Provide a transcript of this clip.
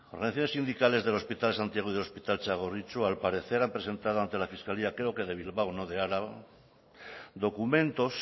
organizaciones sindicales del hospital de santiago y del hospital txagorritxu al parecer presentaron ante la fiscalía creo que de bilbao no de álava documentos